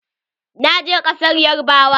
Na je ƙasar yarbawa.